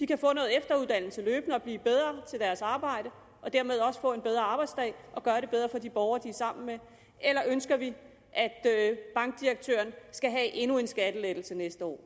kan få noget efteruddannelse og blive bedre til deres arbejde og dermed også få en bedre arbejdsdag og gøre det bedre for de borgere de er sammen med eller ønsker vi at bankdirektøren skal have endnu en skattelettelse næste år